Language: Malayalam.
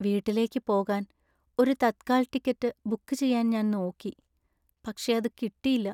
വീട്ടിലേക്ക് പോകാൻ ഒരു തത്കാൽ ടിക്കറ്റ് ബുക്ക് ചെയ്യാൻ ഞാൻ നോക്കി, പക്ഷെ അത് കിട്ടീല്ല.